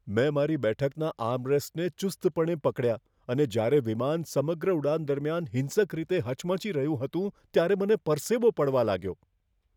મેં મારી બેઠકના આર્મરેસ્ટને ચુસ્તપણે પકડ્યા અને જ્યારે વિમાન સમગ્ર ઉડાન દરમિયાન હિંસક રીતે હચમચી રહ્યું હતું ત્યારે મને પરસેવો પડવા લાગ્યો.